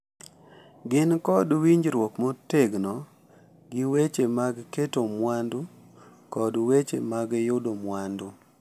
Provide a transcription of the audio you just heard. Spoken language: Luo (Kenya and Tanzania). Gini kod winjruok motegno gi weche mag keto mwandu kod weche mag yudo mwandu .